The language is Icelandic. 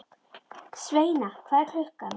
Sveina, hvað er klukkan?